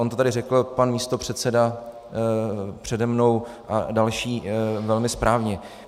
On to tady řekl pan místopředseda přede mnou a další velmi správně.